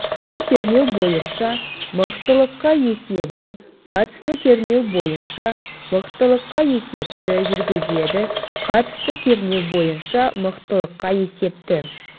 қатысты кернеу бойынша мықтылыққа есебі қатысты кернеу бойынша мықтылыққа есепті жүргізеді қатысты кернеу бойынша мықтылыққа есепті